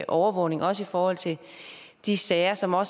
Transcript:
overvågning og også i forhold til de sager som er